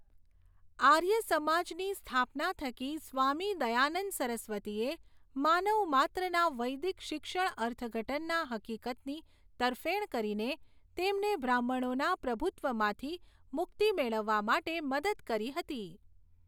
આર્યસમાજની સ્થાપના થકી સ્વામી દયાનંદ સરસ્વતીએ માનવ માત્રના વૈદિક શિક્ષણ અર્થઘટનના હકીકતની તરફેણ કરીને તેમને બ્રાહ્મણોના પ્રભુત્વમાંથી મુક્તિ મેળવવા માટે મદદ કરી હતી.